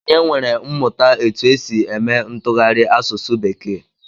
Onye nwere mmụta etu e si eme ntụgharị asụsụ bekee?